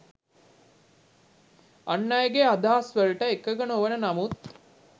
අන් අයගේ අදහස් වලට එකඟ නොවන නමුත්